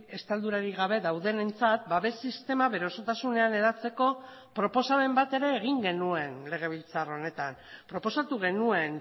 estaldurarik gabe daudenentzat babes sistema bere osotasunean hedatzeko proposamen bat ere egin genuen legebiltzar honetan proposatu genuen